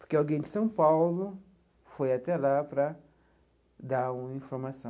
Porque alguém de São Paulo foi até lá para dar uma informação.